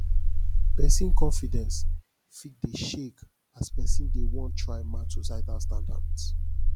pesin confidence fit dey shake as pesin dey wan try match societal standard